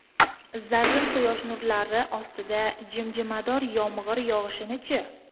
Zarrin quyosh nurlari ostida jimjimador yomg‘ir yog‘ishini-chi?